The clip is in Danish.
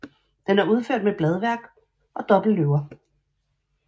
Den er udført med bladværk og dobbeltløver